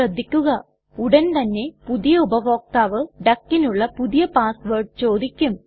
ശ്രദ്ധിക്കുക ഉടൻ തന്നെ പുതിയ ഉപഭോക്താവ് duckനുള്ള പുതിയ പാസ് വേർഡ് ചോദിക്കും